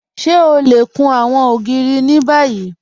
Ṣé ọ lẹ kún àwọn ogìrì ni báyì?